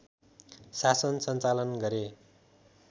शासन सञ्चालन गरे